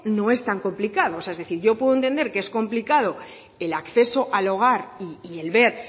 no es tan complicado o sea es decir yo puedo entender que es complicado el acceso al hogar y el ver